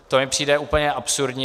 To mi přijde úplně absurdní.